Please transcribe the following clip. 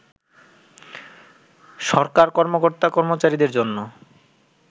সরকার কর্মকর্তা-কর্মচারীদের জন্য